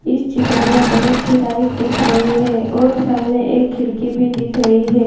इस चित्र में बहोत छे टाइल्स दिख रही है और सामने एक खिड़की भी दिख रही है।